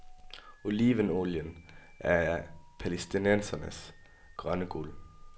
Olivenolien er palæstinensernes grønne guld.